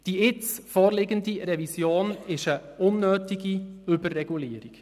Die jetzt vorliegende Revision ist eine unnötige Überregulierung.